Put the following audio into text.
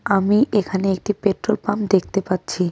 আমি এখানে একটি পেট্রোল পাম্প দেখতে পাচ্ছি .